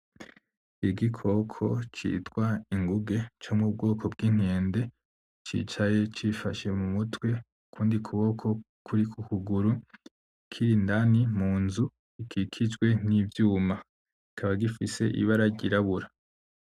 Igikoko citwa inguge comubwoko bwinkende, cicaye cifashe mumutwe ukundi kuboko kuri kukuguru kiri indani munzu ikikijwe nivyuma, kikaba gifise ibara ryirabura.